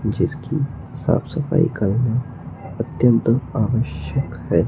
जिसकी साफ सफाई करना अत्यंत आवश्यक है।